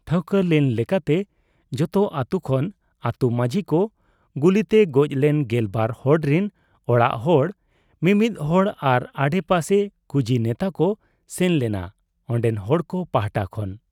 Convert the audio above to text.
ᱴᱷᱟᱹᱣᱠᱟᱹ ᱞᱮᱱ ᱞᱮᱠᱟᱛᱮ ᱡᱚᱛᱚ ᱟᱹᱛᱩ ᱠᱷᱚᱱ ᱟᱹᱛᱩ ᱢᱟᱹᱡᱷᱤᱠᱚ, ᱜᱩᱞᱤᱛᱮ ᱜᱚᱡᱞᱮᱱ ᱜᱮᱞᱵᱟᱨ ᱦᱚᱲᱨᱤᱱ ᱚᱲᱟᱜ ᱦᱚᱲ ᱢᱤᱢᱤᱫ ᱦᱚᱲ ᱟᱨ ᱟᱰᱮᱯᱟᱥᱮ ᱠᱩᱡᱤ ᱱᱮᱛᱟᱠᱚ ᱥᱮᱱ ᱞᱮᱱᱟ ᱚᱱᱰᱮᱱ ᱦᱚᱲᱠᱚ ᱯᱟᱦᱴᱟ ᱠᱷᱚᱱ ᱾